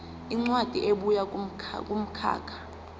incwadi ebuya kumkhakha